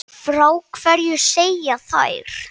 Frá hverju segja þær?